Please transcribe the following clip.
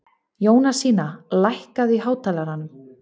Jónasína, lækkaðu í hátalaranum.